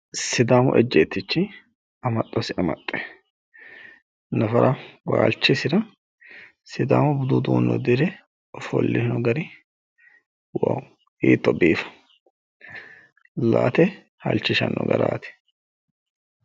sidaamu ejjeetichi amaxxosi amaxxe nafara waalchisira sidaamu budu uddire ofolle noo gari hiitto biifaanno.